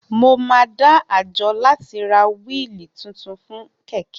Mo máa dá àjọ láti ra wíili titun fún kẹ̀kẹ́ mi